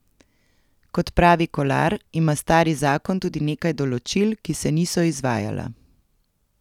Kot pravi Kolar, ima stari zakon tudi nekaj določil, ki se niso izvajala.